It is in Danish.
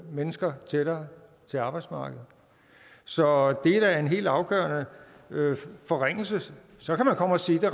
mennesker tættere til arbejdsmarkedet så det er da en helt afgørende forringelse så kan man komme og sige at det